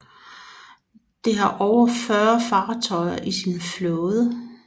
Det har over 40 fartøjer i sin flåde